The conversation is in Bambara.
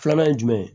Filanan ye jumɛn ye